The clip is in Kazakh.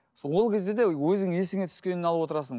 ол кезде де өзіңнің есіңе түскенін алып отырасың